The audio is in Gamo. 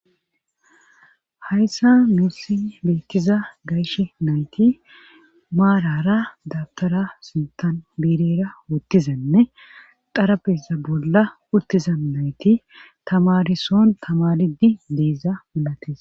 Hayssa muussi beettiza gayshe nayti maarara dabtara sintan biirera wottizanne xarabeza bolla uttiza nayti tamarison tamaridi deeza malates